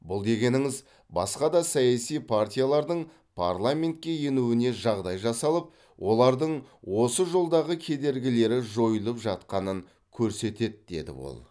бұл дегеніңіз басқа да саяси партиялардың парламентке енуіне жағдай жасалып олардың осы жолдағы кедергілері жойылып жатқанын көрсетеді деді ол